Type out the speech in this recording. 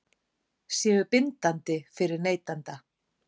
Séu bindandi fyrir neytanda?